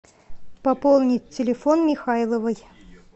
пополнить телефон михайловой